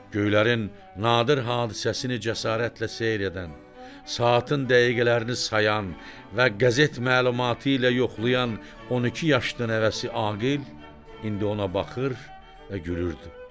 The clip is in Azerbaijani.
Göylərin nadir hadisəsini cəsarətlə seyr edən, saatın dəqiqələrini sayan və qəzet məlumatı ilə yoxlayan 12 yaşlı nəvəsi Aqil indi ona baxır və gülürdü.